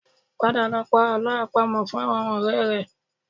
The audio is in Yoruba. Padà lọ pa àlọ́ àpamọ̀ fún àwọn ọ̀rẹ́ rẹ